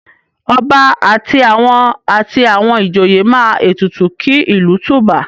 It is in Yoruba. Ọba àti àwọn àti àwọn ìjòye máa ètùtù kí ìlú tùbà?